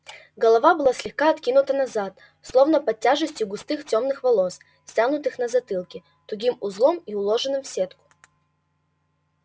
голова была слегка откинута назад словно под тяжестью густых тёмных волос стянутых на затылке тугим узлом и уложенных в сетку